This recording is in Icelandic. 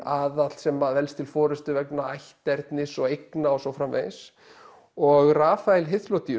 aðall sem velst til forystu vegna ætternis og eigna og svo framvegis og Rafael